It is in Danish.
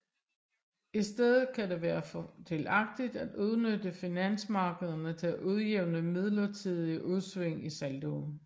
I stedet kan det være fordelagtigt at udnytte finansmarkederne til at udjævne midlertidige udsving i saldoen